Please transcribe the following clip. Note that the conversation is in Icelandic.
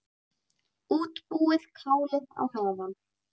Útbúið kálið á meðan.